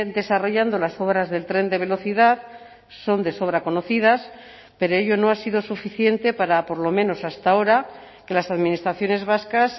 desarrollando las obras del tren de velocidad son de sobra conocidas pero ello no ha sido suficiente para por lo menos hasta ahora que las administraciones vascas